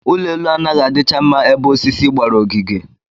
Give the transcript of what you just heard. Ụlọelu anaghị adịcha mma ebe osisi gbara ogige